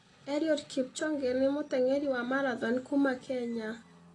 Eliud Kipchoge nĩ mũteng'eri wa marathon kuuma Kenya.